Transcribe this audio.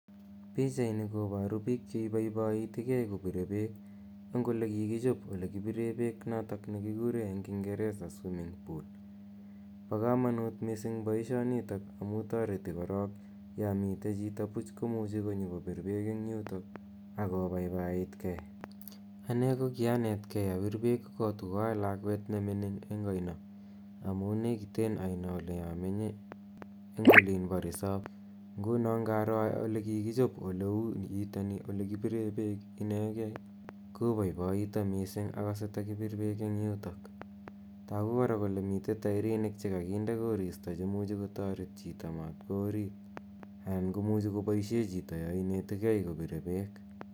Pichaini koparu piik che ipaipaitigei kopire peek eng' ole kikichop ole kipire peek notok ne ki kure eng' kingeresa swimming pool. Pa kamanut missing' poishonitok amu tareti korok ya mitei chito. puch ko muchi nyu kopir peek eng' yutak ako paipaitge. Ane ko kianet gei apir pwwk ko tu ko a lakwet ne mining' eng' aino amunu nekiten aino ole amenye eng' olin po resop. Nguno ngaro ole kikichop ole nitani, ole kipire peek inegei, kopaipaita missing', akase takipir peek eng' yutok. Tagu kora kole mitei tairinik che kakinde korista che imuchi kotaret chito matkowa orit anan ko muchi kopaishe chito ya inetigei kopir peek.